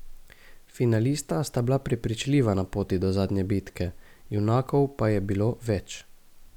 Finalista sta bila prepričljiva na poti do zadnje bitke, junakov pa je bilo več.